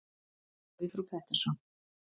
spurði frú Pettersson.